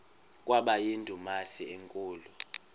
kwaba yindumasi enkulu